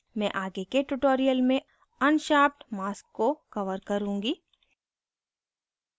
मैं आगे के tutorial में अनशार्पड mask को cover करुँगी